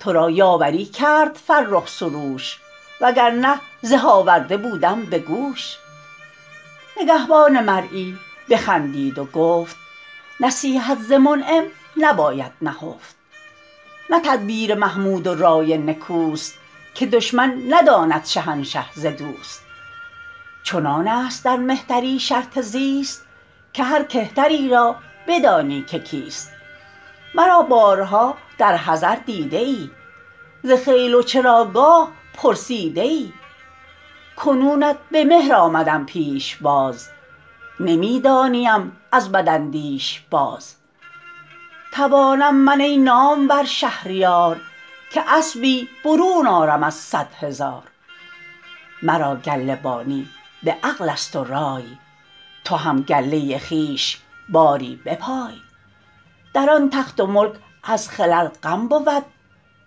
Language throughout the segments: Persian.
تو را یاوری کرد فرخ سروش وگر نه زه آورده بودم به گوش نگهبان مرعی بخندید و گفت نصیحت ز منعم نباید نهفت نه تدبیر محمود و رای نکوست که دشمن نداند شهنشه ز دوست چنان است در مهتری شرط زیست که هر کهتری را بدانی که کیست مرا بارها در حضر دیده ای ز خیل و چراگاه پرسیده ای کنونت به مهر آمدم پیشباز نمی دانیم از بداندیش باز توانم من ای نامور شهریار که اسبی برون آرم از صد هزار مرا گله بانی به عقل است و رای تو هم گله خویش باری بپای در آن تخت و ملک از خلل غم بود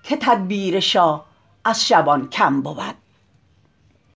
که تدبیر شاه از شبان کم بود